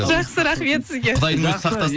жақсы рахмет сізге құдайдың өзі сақтасын